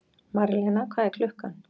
Marlena, hvað er klukkan?